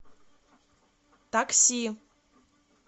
такси